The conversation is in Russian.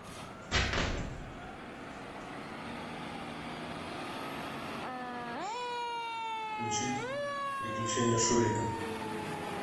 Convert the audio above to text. включить приключения шурика